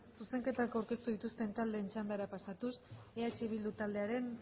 zuzenketak aurkeztu dituzten taldeen txandara pasatuz eh bildu taldearen